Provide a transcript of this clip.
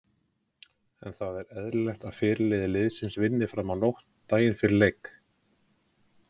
En er það eðlilegt að fyrirliði liðsins vinni fram á nótt daginn fyrir leik?